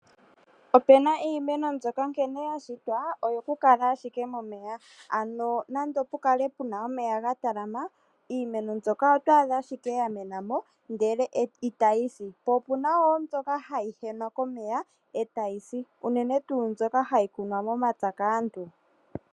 Opena iimeno mbyoka nkene yashitwa oyo kukala ashike momeya, ano nande opukale puna omeya gatalama iimeno mbyoka otwadha ashike yamena ndele itayisi, po opuna wo mbyoka hayi henwa komeya etayisi unene tu mbyoka hayikunwa momapya kaantu.